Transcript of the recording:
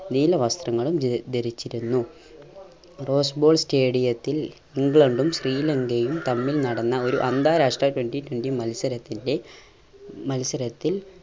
നീല വസ്ത്രങ്ങളും ധരി ധരിച്ചിരുന്നു റോസ്‌ബോൾ stadium ത്തിൽ ഇംഗ്ലണ്ടും ശ്രീലങ്കയും തമ്മിൽ നടന്ന ഒരു അന്താരാഷ്ട്ര twenty twenty മത്സരത്തിൻറെ മത്സരത്തിൽ